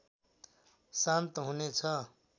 शान्त हुनेछ